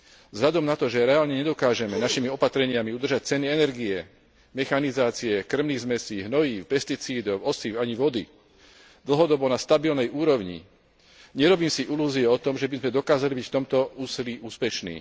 Vzhľadom na to, že reálne nedokážeme našimi opatreniami udržať ceny energie, mechanizácie, krvných zmesí, hnojív, pesticídov, osív ani vody dlhodobo na stabilnej úrovni, nerobím si ilúzie o tom, že by sme dokázali byť v tomto úsilí úspešní.